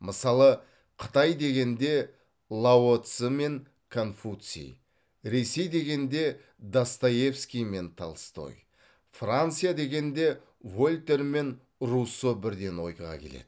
мысалы қытай дегенде лао цзы мен конфуций ресей дегенде достоевский мен толстой франция дегенде вольтер мен руссо бірден ойға келеді